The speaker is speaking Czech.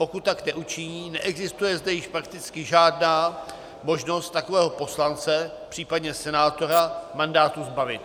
Pokud tak neučiní, neexistuje zde již prakticky žádná možnost takového poslance, případně senátora mandátu zbavit.